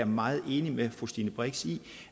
meget enig med fru stine brix i